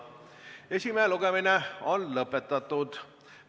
Esimene lugemine on lõpetatud!